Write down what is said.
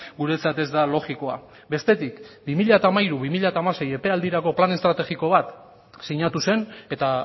guretzat ez da logikoa bestetik bi mila hamairu bi mila hamasei epealdirako plan estrategiko bat sinatu zen eta